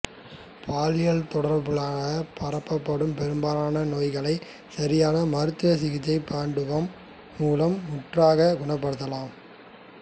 பாலியற் தொடர்புகளாற் பரப்பப்படும் பெரும்பாலான நோய்களைச் சரியான மருத்துவ சிகிச்சை பண்டுவம் மூலம் முற்றாகக் குணப்படுத்தலாம்